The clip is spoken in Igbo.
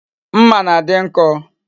Mma na-adi nko